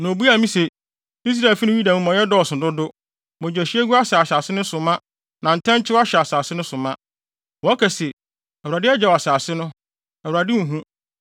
Na obuaa me se, “Israelfi ne Yuda amumɔyɛ dɔɔso dodo; mogyahwiegu ahyɛ asase no so ma na ntɛnkyew ahyɛ asase no so ma. Wɔka se, ‘ Awurade agyaw asase no; Awurade nhu.’